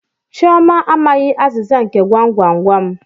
Chioma amaghi azịza nke gwam gwam gwam.